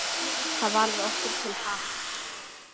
Það varð okkur til happs.